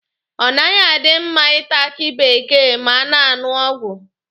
Ọ naghị adị mma Ị ta aki bekee ma a na-aṅụ ọgwụ.